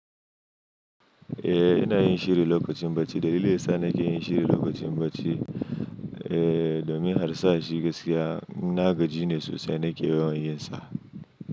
Eh, ina yin shiri lokacin bacci. Dalilin sa nake yin shiri lokacin bacci, eh, domin harsashi gaskiya. Na gaji ne sosai, nake yawan yin sa.